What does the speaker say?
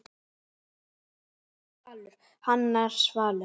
Megas Valur, Hannes Svalur.